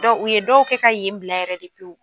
u ye dɔw kɛ ka yen bila yɛrɛ de pewu.